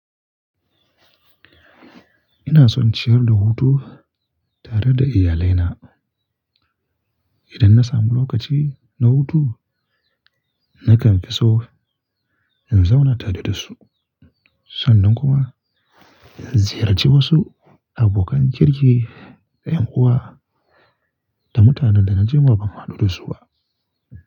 Ina son ciyar da hutu tare da iyalina. Idan na samu lokaci na hutu, nakan fi so in zauna tare da su sannan kuma in ziyarci wasu abokan kirki, da ƴan uwa da mutanen da na ji ma ban haɗu da su ba.